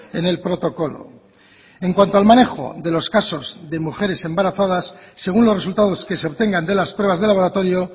en el protocolo en cuanto al manejo de los casos de mujeres embarazadas según los resultados que se obtengan de las pruebas de laboratorio